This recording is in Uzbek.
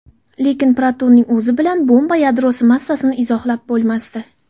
Lekin protonning o‘zi bilan atom yadrosi massasini izohlab bo‘lmasdi.